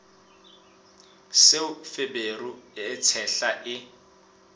seo feberu e tshehla e